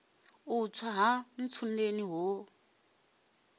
u tswa ha ntsundeni ho